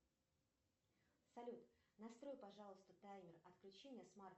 салют настрой пожалуйста таймер отключения смарт